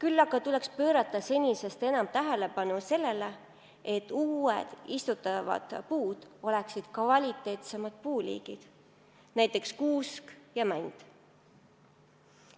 Seejuures tuleks pöörata senisest enam tähelepanu sellele, et uued puud oleksid kvaliteetsematest liikidest, näiteks kuused ja männid.